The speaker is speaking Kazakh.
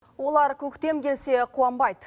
олар көктем келсе қуанбайды